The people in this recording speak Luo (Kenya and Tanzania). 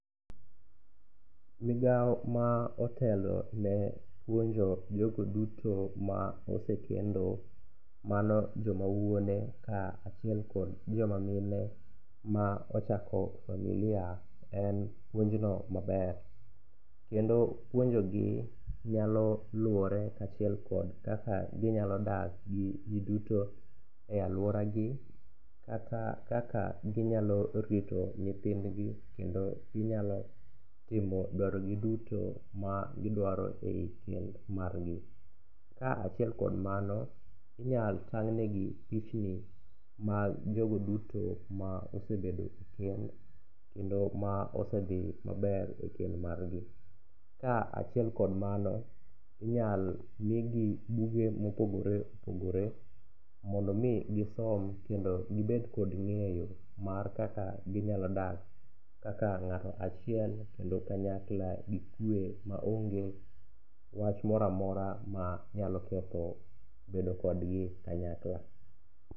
Migawo ma otelone puonjo jogo duto ma osekendo ,mano joma wuone ka achiel kod jomamine ma ochako familia en puonjno maber, kendo puonjogi nyalo luwore kachiel kod kaka ginyalo dak gi ji duto e alworagi kata kaka ginyalo rito nyithindgi kendo ginyalo timo dwarogi duto ma gidwaro e kend margi. Kachiel kod mano, inyalo tang'negi pichni mag jogo duto ma osebedo e kend kendo ma osedhi maber e kend margi, ka achiel kod mano, inyalo migi buge mopogore opogore mondo omi gisom kendo gibed kod ng'eyo mar kaka ginyalo dak kaka ng'ato achiel kendo kanyakla gi kwe ma onge wach mora mora manyalo ketho bedo kodgi kanyakla.